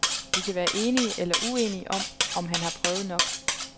Vi kan være enige eller uenige om, om han har prøvet nok.